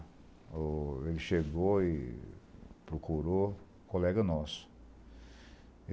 O ele chegou e procurou um colega nosso.